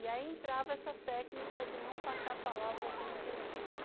E aí entrava essa técnica de não passar a palavra sem entender.